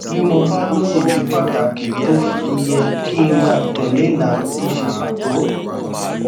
bí mo bá lóye ìdí pàtàkì tó fi yẹ kí n máa tè lé ìlànà tó ṣe pàtó